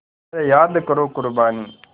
ज़रा याद करो क़ुरबानी